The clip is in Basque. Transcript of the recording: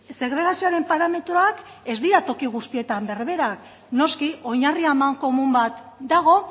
segregazioaren parametroak ez dira toki guztietan berberak noski oinarri amankomun bat dago